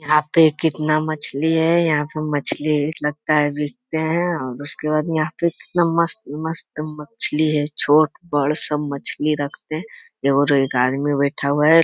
यहाँ पे कितना मछली है। यहाँ पे मछली लगता है बेचते हैं और उसके बाद यहाँ पे कितना मस्त-मस्त मछली है। छोट-बड़ सब मछली रखते हैं और ये गाड़ी में बैठा हुआ है।